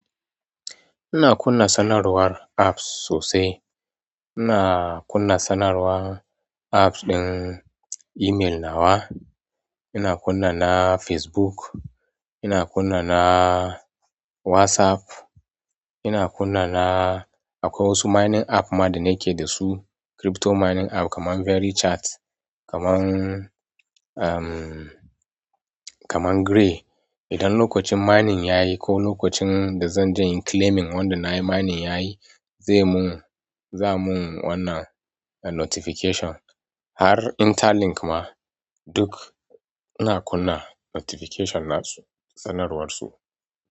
Ina kunna sanarwar apps sosai. Ina kunna sanarwar app ɗin email nawa, ina kunna na Facebook, ina kunna na wasaf, ina kunna na akwai wasu minin app ma da nake dasu, kirifto minin app kaman beri chat kaman grey idan lokacin mining yayi ko lokacin da zan je inyi claiming wanda na yi mining yayi, zai mun, za amun wannan notification. Har Interlink ma duk ina kunna notification nasu, sanarwarsu.